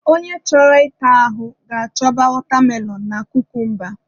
Onye chọrọ ịta ahụ ga-achọba watermelon na kukumba